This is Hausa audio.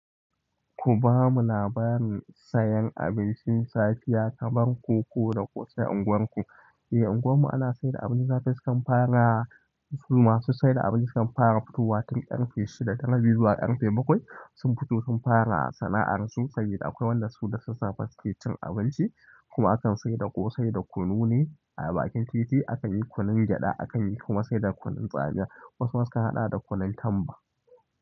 Ku bamu labarin sayan abincin safiya kamar koko da ƙosai a unguwarku eh, unguwar mu ana saida abincin safe su kan fara masu saida abinci su kan fara futowa tun ƙarfe shida da rabi zuwa ƙarfe bakwai sun fito sun fara sana'ar su, sabida akwai wanda su da sassafe suke cin abinci. Kuma akan saida ƙosai da kunu ne a bakin titi. Akan yi kunun gyaɗa, akan yi kuma saida kunun tsamiya. Wasu ma sukan haɗa da kunun tamba.